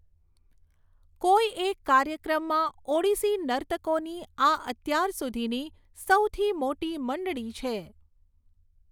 કોઈ એક કાર્યક્રમમાં ઓડિસી નર્તકોની આ અત્યાર સુધીની સૌથી મોટી મંડળી છે.